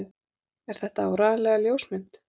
Er þetta áreiðanlega ljósmynd?